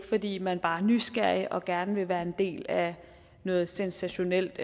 fordi man bare er nysgerrig og gerne vil være en del af noget sensationelt